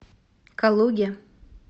калуге